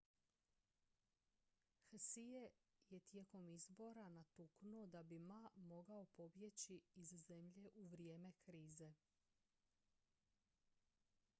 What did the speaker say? hsieh je tijekom izbora natuknuo da bi ma mogao pobjeći iz zemlje u vrijeme krize